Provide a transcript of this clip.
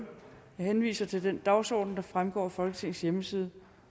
henviser til den dagsorden der fremgår af folketingets hjemmeside